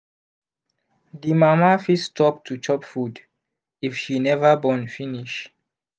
the mama fit stop to chop food if she never born finish